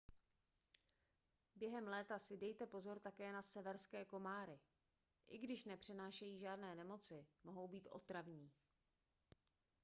během léta si dejte pozor také na severské komáry i když nepřenášejí žádné nemoci mohou být otravní